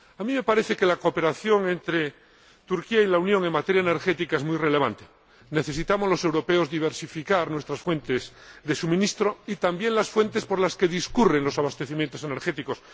A mí me parece que la cooperación entre Turquía y la Unión en materia energética es muy relevante. Los europeos necesitamos diversificar nuestras fuentes de suministro y también las vías por las que discurren los abastecimientos energéticos.